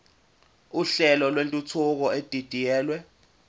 uhlelo lwentuthuko edidiyelwe